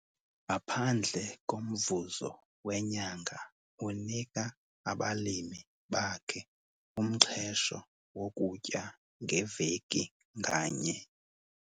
Ngaphandle komvuzo wenyanga unika abalimi bakhe umxhesho wokutya ngeveki nganye.